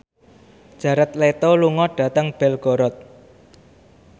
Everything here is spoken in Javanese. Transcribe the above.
Jared Leto lunga dhateng Belgorod